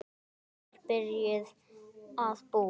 Hún er byrjuð að búa!